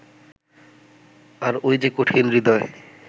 আর ওই যে কঠিন-হৃদয়